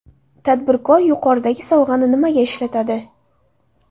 Tadbirkor yuqoridagi sovg‘ani nimaga ishlatadi?